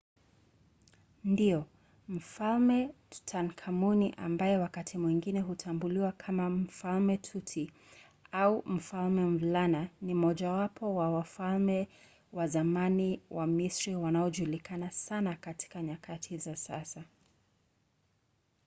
ndiyo! mfalme tutankhamuni ambaye wakati mwingine hutambuliwa kama mfalme tuti” au mfalme mvulana” ni mmojawapo wa wafalme wa zamani wa misri wanaojulikana sana katika nyakati za sasa